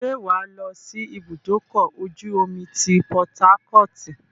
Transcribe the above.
ṣé wàá lọ́ sí ibùdókọ̀-ojú-omi ti Pọtákọ́ọ̀tì?